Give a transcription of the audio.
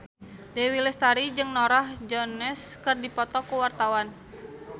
Dewi Lestari jeung Norah Jones keur dipoto ku wartawan